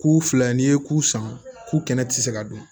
K'u filɛ n'i ye ku san ku kɛnɛti se ka dun